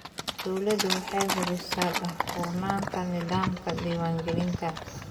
Dawladdu waxay hubisaa daahfurnaanta nidaamka diiwaangelinta.